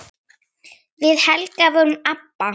Við Helga vorum ABBA.